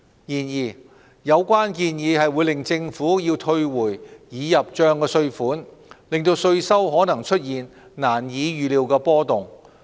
然而，有關建議會令政府要退回已入帳的稅款，令稅收可能出現難以預料的波動。